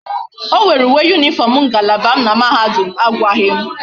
O were uwe uniform ngalaba m na mahadum a agwaghi m